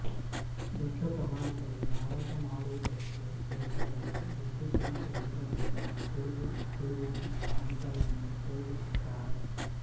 ದೊಡ್ಡ ಪ್ರಮಾಣದಲ್ಲಿಮಾರಾಟ ಮಾಡುವುದಕ್ಕೆಬೇಕಾದರೆ ವಿದ್ಯುತ್ತಿನ ಯಂತ್ರದಿಂದ ತಿರುಗು ತಿರುಗಣೆ ಯಂತ್ರವನ್ನು ಉಪಯೋಗಿಸುತ್ತಾರೆ